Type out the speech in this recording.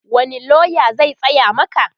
wani loya zai tsaya Maka?